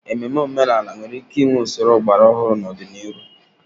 Ememe omenala nwere ike inwe usoro ọgbara ọhụrụ n'ọdịnihu